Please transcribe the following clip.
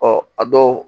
Ɔ a dɔw